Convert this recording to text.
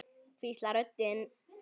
hvíslar röddin.